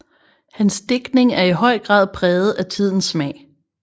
Hans digtning er i høj grad præget af tidens smag